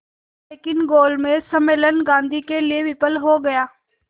लेकिन गोलमेज सम्मेलन गांधी के लिए विफल हो गया